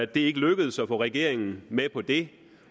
det er ikke lykkedes at få regeringen med på det